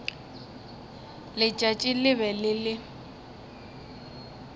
letšatši le be le le